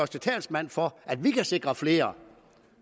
til talsmand for at vi kan sikre flere